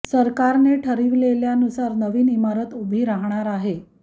सरकारने ठरविलेल्या नुसार नवीन इमारत उभी राहणार आहे